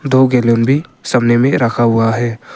दो गैलन भी सामने में रखा हुआ है।